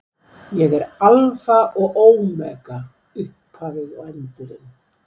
Ég er Alfa og Ómega, upphafið og endirinn.